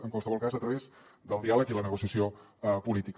en qualsevol cas a través del diàleg i la negociació política